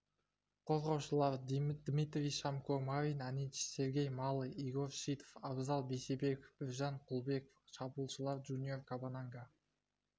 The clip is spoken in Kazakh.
қорғаушылар дмитрий шомко марин аничич сергей малый игорь шитов абзал бейсебеков біржан құлбеков шабуылшылар джуниор кабананга